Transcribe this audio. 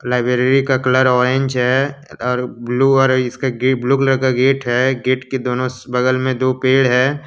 Library का colour orange है अं और ब्लू और इसके गेट ब्लू कलर का गेट है। गेट के दोनों स बगल में दो पेड़ है।